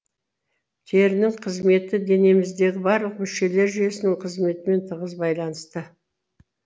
терінің қызметі денеміздегі барлық мүшелер жүйесінің қызметімен тығыз байланысты